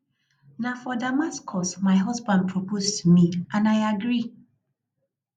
na for damascus my husband propose to me and i agree